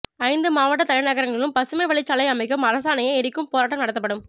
ஐந்து மாவட்ட தலைநகரங்களிலும் பசுமை வழிச்சாலை அமைக்கும் அரசாணையை எரிக்கும் போராட்டம் நடத்தப்படும்